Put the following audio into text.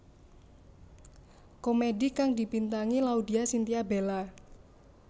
Komedi kang dibintangi Laudya Chintya Bella